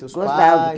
Gostavam. Seus pais?